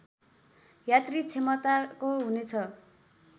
यात्री क्षमताको हुनेछ